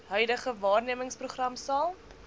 huidige waarnemersprogram sal